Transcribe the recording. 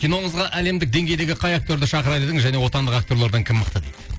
киноңызға әлемдік деңгейдегі қай актерді шақырыр едіңіз және отандық актерлардан кім мықты дейді